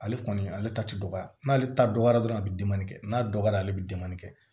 Ale kɔni ale ta ti dɔgɔya n'ale ta dɔgɔyara dɔrɔn a bɛ dimin kɛ n'a dɔgɔyara ale bɛ kɛ